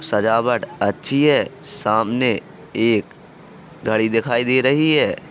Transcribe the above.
सजावट अच्छी है। सामने एक घड़ी दिखाई दे रही है।